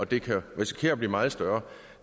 det kan risikere at blive meget større